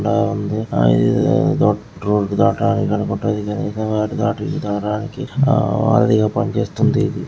ఉంది ఇదేదో రోడ్డు దాటాల ఆమ్ వారధిగా పనిచేస్తుంది.